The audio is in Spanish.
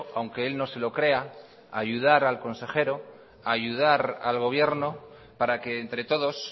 aunque él no se lo crea yyudar al consejero ayudar al gobierno para que entre todos